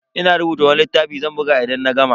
Ina rubuta wani littafi zan buga idan na gama.